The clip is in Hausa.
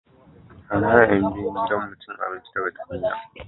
an hana yan biyun gidan mu cin abinci daga tukunya